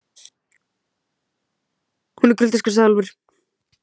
Hún er kuldaskræfa, sagði Úlfur.